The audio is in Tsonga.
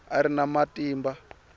a a ri na matimba